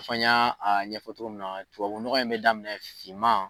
Fɔ ɲa ɲɛfɔ togo min na, tubabu nɔgɔ in bɛ daminɛ finman.